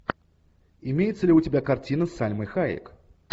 имеется ли у тебя картина с сальмой хайек